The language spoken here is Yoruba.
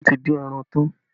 Wọ́n ti dín ẹran tán